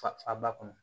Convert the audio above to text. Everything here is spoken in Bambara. Fa ba kɔnɔ